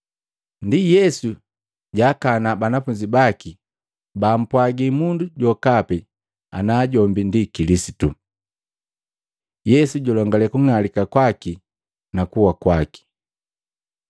Ndi Yesu jaakana banafunzi baki bampwaji mundu jokapi ana jombi ndi Kilisitu. Yesu julongale kung'alika kwaki na kuwa kwaki Maluko 8:31-9:1; Luka 9:22-27